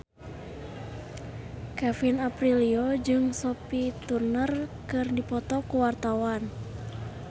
Kevin Aprilio jeung Sophie Turner keur dipoto ku wartawan